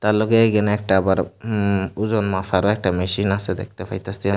এর লগে এখানে একটা আবার উম ওজোন মাপার একটা মেশিন আছে দেখতে পাইতাছি--